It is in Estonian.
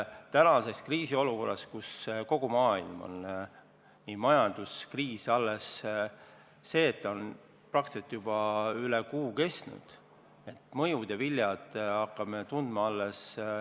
Tänases kriisiolukorras, kus kogu maailmas on majanduskriis praktiliselt juba üle kuu kestnud, hakkame neid mõjusid ja vilju alles tundma.